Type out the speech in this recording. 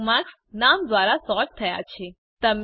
bookmarks નામ દ્વારા sort થયા છે